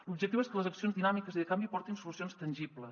l’objectiu és que les accions dinàmiques i de canvi portin solucions tangibles